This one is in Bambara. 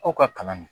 Aw ka kalan don